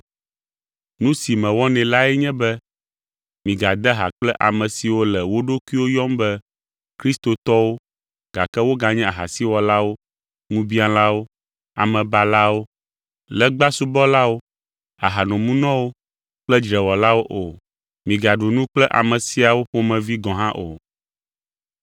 Nu si mewɔnɛ lae nye be migade ha kple ame siwo le wo ɖokuiwo yɔm be kristotɔwo, gake woganye ahasiwɔlawo, ŋubiãlawo, amebalawo, legbasubɔlawo, ahanomunɔwo kple dzrewɔlawo o. Migaɖu nu kple ame siawo ƒomevi gɔ̃ hã o.